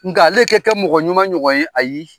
Nka ale kɛ kɛ mɔgɔ ɲuman ɲɔgɔn ye ayi